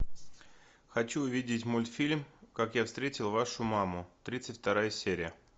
хочу увидеть мультфильм как я встретил вашу маму тридцать вторая серия